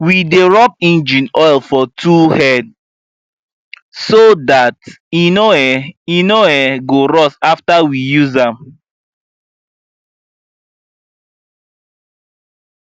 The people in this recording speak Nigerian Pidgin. we dey rub engine oil for tool head so dat e no um e no um go rust after we use am